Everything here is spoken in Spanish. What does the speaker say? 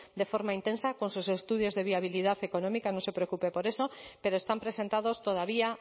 de forma intensa con sus estudios de viabilidad económica no se preocupe por eso pero están presentados todavía